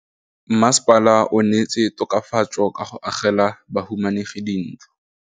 Mmasepala o neetse tokafatsô ka go agela bahumanegi dintlo.